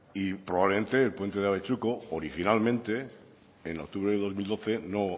y probablemente el puente de abetxuko originalmente en octubre de dos mil doce no